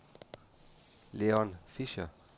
Leon Fischer